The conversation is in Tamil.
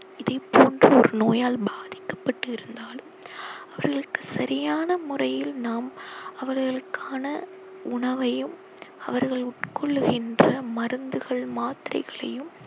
இதைப் போன்ற ஒரு நோயால் பாதிக்கப்பட்டிருந்தாலும் அவர்களுக்கு சரியான முறையில் நாம் அவர்களுக்கான உணவையும் அவர்கள் உட்கொள்ளுகின்ற மருந்துகள் மாத்திரைகளையும்